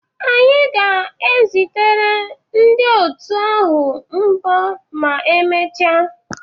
Anyị ga-ezitere ndị otu ahụ mbọ ma emechaa